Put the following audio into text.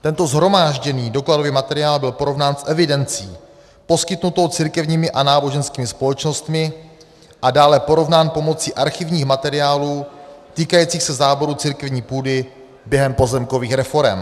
Tento shromážděný dokladový materiál byl porovnán s evidencí poskytnutou církevními a náboženskými společnostmi a dále porovnán pomocí archivních materiálů týkajících se záboru církevní půdy během pozemkových reforem.